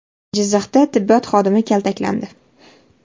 Jizzaxda tibbiyot xodimi kaltaklandi.